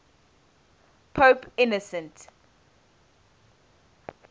pope innocent